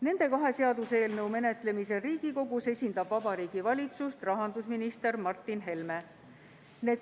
Nende kahe seaduseelnõu menetlemisel Riigikogus esindab Vabariigi Valitsust rahandusminister Martin Helme.